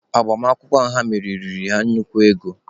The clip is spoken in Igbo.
Agbamakwụkwọ ha mere riri ha nnukwu ego.